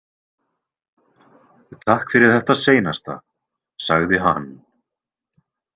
Takk fyrir þetta seinasta, sagði hann.